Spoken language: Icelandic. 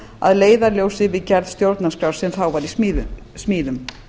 að leiðarljósi við gerð stjórnarskrár sem var í smíðum